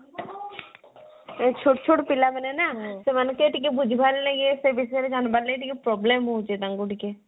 ଛୋଟ ଛୋଟ ପିଲା ମାନେ ନା ସେମାନଙ୍କେ ବୁଝିବାର ଲାଗେ ସେ ବିଷୟରେ ଜାଣିବାର ଲାଗେ problem ହଉଛି ତାଙ୍କୁ ଟିକେ